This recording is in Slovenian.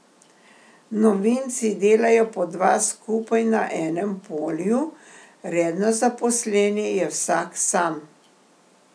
Novinci delajo po dva skupaj na enem polju, redno zaposleni je vsak sam.